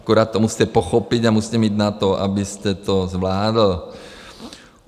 Akorát to musíte pochopit a musíte mít na to, abyste to zvládl.